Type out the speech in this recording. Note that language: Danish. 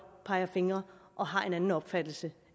peger fingre og har en anden opfattelse